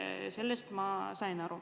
Sellest ma sain aru.